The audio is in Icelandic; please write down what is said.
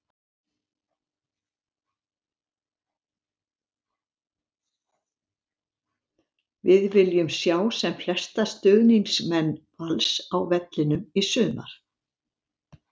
Við viljum sjá sem flesta stuðningsmenn Vals á vellinum í sumar!